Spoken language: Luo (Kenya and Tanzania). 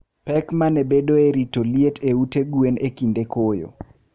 Pek ma ne bedoe e rito liet e ute gwen e kinde koyo.